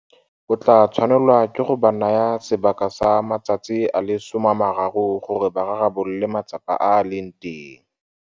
O tla tshwanelwa ke go ba naya sebaka sa matsatsi a le 30 gore ba rarabolole matsapa a a leng teng.